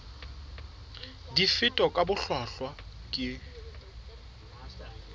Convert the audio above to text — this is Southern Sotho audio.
di fetwa ka bohlwahlwa ke